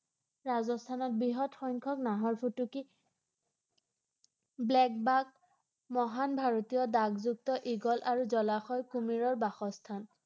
ৰাজস্থানত বৃহৎ সংখ্যক নাহৰ ফুটুকী ব্লেক বাঘ, মহান ভাৰতীয় ডাগযুক্ত ঈগল আৰু জলাশয় কুমিৰৰ বাসস্থান৷